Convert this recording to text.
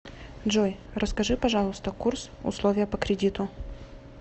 джой расскажи пожалуйста курс условия по кредиту